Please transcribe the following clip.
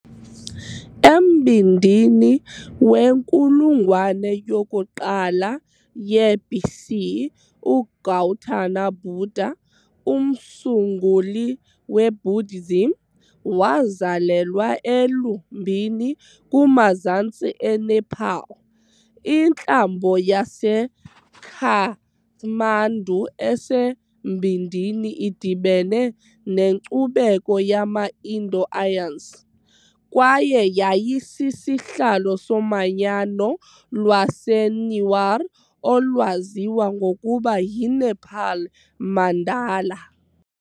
Embindini wenkulungwane yokuqala ye-BC, uGautama Buddha, umsunguli weBuddhism, wazalelwa eLumbini kumazantsi eNepal. Intlambo yaseKathmandu esembindini idibene nenkcubeko yama-Indo-Aryans, kwaye yayisisihlalo somanyano lwaseNewar olwaziwa ngokuba yiNepal Mandala .